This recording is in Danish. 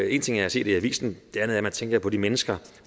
en ting er at se det i avisen noget er at man tænker på de mennesker